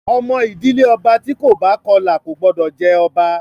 Ọmọ ìdílé ọba tí kò bá Kọlà kò gbọ́dọ̀ jẹ ọba!